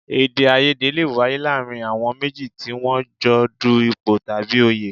Èdèàìyedè lè wáyé láàárín àwọn méjì tí wọ́n jọ ń du ipò tàbí òye